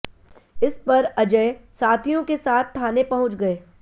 इस पर अजय साथियों के साथ थाने पहुंच गए